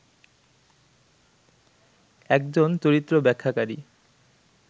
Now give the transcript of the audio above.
একজন চরিত্র ব্যাখ্যাকারী